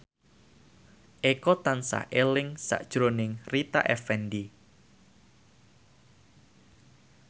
Eko tansah eling sakjroning Rita Effendy